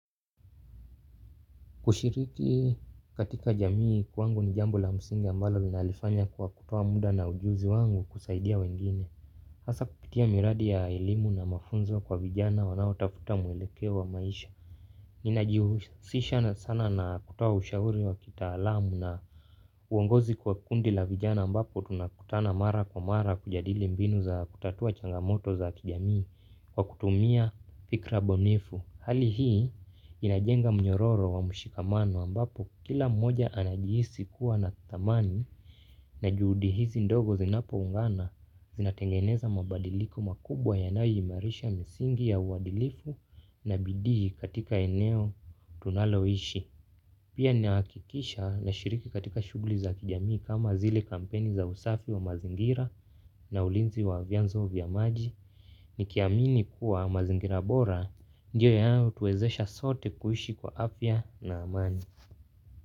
Kushiriki katika jamii kwangu ni jambo la msingi ambalo ninalifanya kwa kutoa muda na ujuzi wangu kusaidia wengine. Hasa kupitia miradi ya elimu na mafunzo kwa vijana wanaotafuta mwelekeo wa maisha. Ninajihusisha sana na kutoa ushauri wa kitaalamu na uongozi kwa kundi la vijana ambapo tunakutana mara kwa mara kujadili mbinu za kutatua changamoto za kijamii kwa kutumia fikra bunifu. Hali hii inajenga mnyororo wa mshikamano ambapo kila mmoja anajihisi kuwa na thamani na juhudi hizi ndogo zinapoungana zinatengeneza mabadiliko makubwa yanayoimarisha misingi ya uadilifu na bidii katika eneo tunaloishi. Pia ninahakikisha nashiriki katika shughuli za kijamii kama zile kampeni za usafi wa mazingira na ulinzi wa vyanzo vya maji. Nikiamini kuwa mazingira bora ndio yanayotuwezesha sote kuishi kwa afya na amani.